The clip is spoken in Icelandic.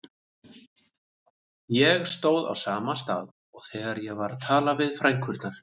Ég stóð á sama stað og þegar ég var að tala við frænkurnar.